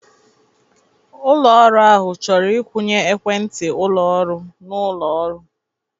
Ụlọ ọrụ ahụ chọrọ ịwụnye ekwentị ụlọ ọrụ na ụlọ ọrụ.